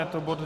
Je to bod